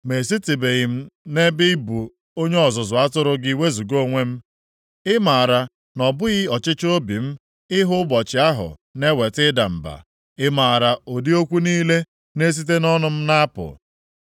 Ma esitebeghị m na ị bụ onye ọzụzụ atụrụ gị wezuga onwe m. Ị maara na ọ bụghị ọchịchọ obi m ịhụ ụbọchị ahụ na-eweta ịda mba. Ị maara ụdị okwu niile na-esite nʼọnụ m na-apụ.